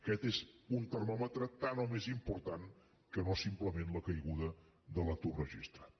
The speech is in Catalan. aquest és un termòmetre tant o més important que no simplement la caiguda de l’atur registrat